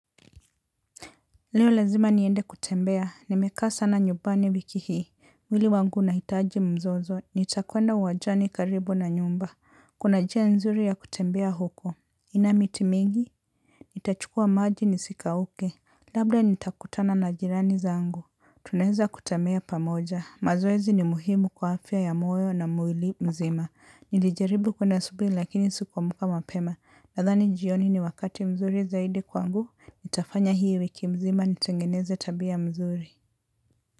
Leo lazima niende kutembea, nimekaa sana nyubani wiki hii mwili wangu unaitaji mzozo, nitakuenda uwajani karibu na nyumba. Kuna njia nzuri ya kutembea huko, ina miti mingi. Nitachukua maji nisikauke. Labda nitakutana na jirani zangu. Tuneza kutembea pamoja, mazoezi ni muhimu kwa afya ya moyo na mwili mzima. Nilijaribu kwenda asubuhi lakini sikuamka mapema. Nadhani jioni ni wakati mzuri zaidi kwangu. Nitafanya hii wiki mzima nitengeneze tabia mzuri.